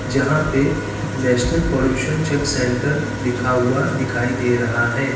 जहां पर national pollution check centre लिखा हुआ दिखाई दे रहा है।